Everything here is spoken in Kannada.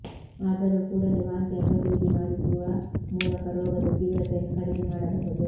ಆದರೂ ಕೂಡಲೇ ವಾಂತಿ ಅಥವಾ ಬೇಧಿ ಮಾಡಿಸುವ ಮೂಲಕ ರೋಗದ ತೀವ್ರತೆಯನ್ನು ಕಡಿಮೆ ಮಾಡಬಹುದು